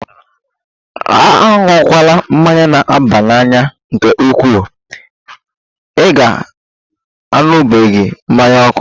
Aṅụkwala mmanya na-aba n'anya nke ukwuu! Ị ga-aṅụbiga mmanya ókè.